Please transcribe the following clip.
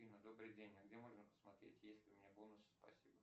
афина добрый день а где можно посмотреть есть ли у меня бонусы спасибо